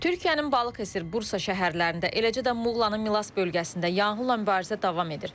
Türkiyənin Balıkəsir, Bursa şəhərlərində, eləcə də Muğlanın Milas bölgəsində yanğınla mübarizə davam edir.